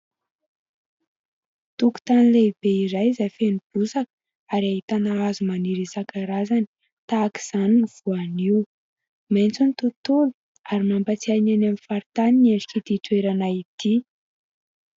Tokotany lehibe iray izay feno bozaka ary ahitana hazo maniry isan-karazany tahaka izany ny voanio. Maitso ny tontolo ary mampatsiahy ny eny amin'ny faritany ny endrik'itỳ toerana itỳ.